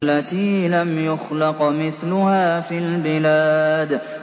الَّتِي لَمْ يُخْلَقْ مِثْلُهَا فِي الْبِلَادِ